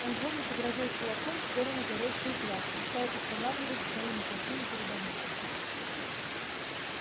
он злобно погрозил кулаком в сторону горящих глаз и стал устанавливать свои мокасины перед огнём